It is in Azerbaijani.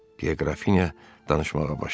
deyə Qrafinya danışmağa başladı.